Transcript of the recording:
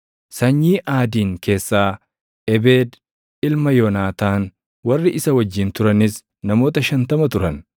sanyii Aadiin keessaa Ebeed ilma Yoonaataan; warri isa wajjin turanis namoota 50 turan;